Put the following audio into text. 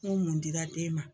mun dira den ma.